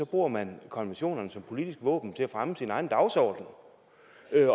bruger man konventionerne som politisk våben til at fremme sin egen dagsorden